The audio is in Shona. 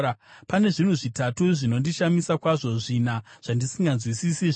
“Pane zvinhu zvitatu zvinondishamisa kwazvo, zvina zvandisinganzwisisi, zvinoti: